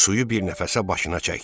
Suyu bir nəfəsə başına çəkdi.